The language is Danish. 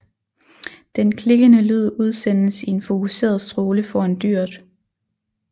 Den klikkende lyd udsendes i en fokuseret stråle foran dyret